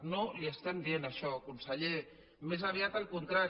no li estem dient això conseller més aviat el contrari